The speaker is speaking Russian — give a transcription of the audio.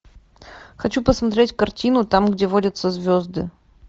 хочу посмотреть картину там где водятся звезды